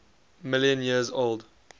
million years old